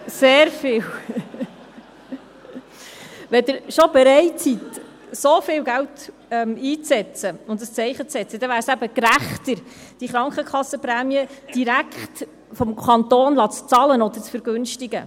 Wenn Sie schon bereit sind, so viel Geld einzusetzen und ein Zeichen zu setzen, dann wäre es gerechter, diese Krankenkassenprämien direkt durch den Kanton bezahlen zu lassen oder zu vergünstigen.